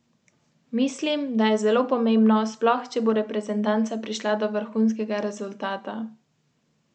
Nekateri so se začeli bati, da se bo dežela popolnoma sesula, in so iskali devize.